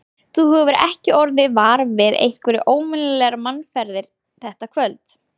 Þú hefur ekki orðið var við einhverjar óvenjulegar mannaferðir þetta kvöld?